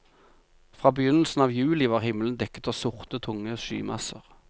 Fra begynnelsen av juli var himmelen dekket av sorte, tunge skymasser.